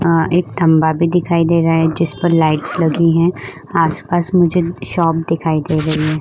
आ एक खम्बा भी दिखाई दे रहा है। जिस पर लाइट्स लगी हुई हैं आस-पास मुझे शॉप दिखाई दे रही हैं।